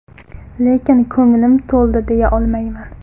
Lekin ko‘nglim to‘ldi deya olmayman.